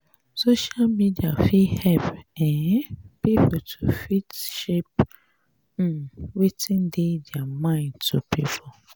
social media fit help um pipo to fit share um wetin dey their mind to pipo